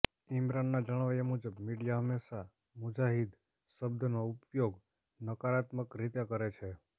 ઈમરાનના જણાવ્યાં મુજબ મીડિયા હંમેશા મુજાહિદ શબ્દનો ઉપયોગ નકારાત્મક રીતે કરે છે